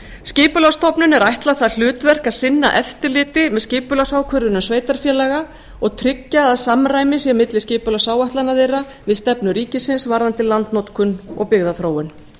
skipulagsstofnun er ætlað það hlutverk að sinna eftirliti með skipulagsákvörðunum sveitarfélaga og tryggja að samræmi sé milli skipulagsáætlana þeirra við stefnu ríkisins varðandi landnotkun og byggðaþróun